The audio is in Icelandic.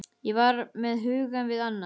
Ég var með hugann við annað.